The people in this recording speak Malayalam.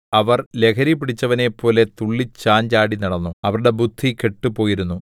അവർ ലഹരിപിടിച്ചവനെപ്പോലെ തുള്ളി ചാഞ്ചാടി നടന്നു അവരുടെ ബുദ്ധി കെട്ടുപോയിരുന്നു